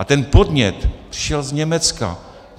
A ten podnět přišel z Německa.